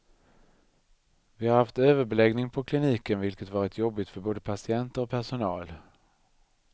Vi har haft överbeläggning på kliniken, vilket varit jobbigt för både patienter och personal.